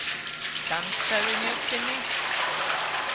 Dansað í Mjóddinni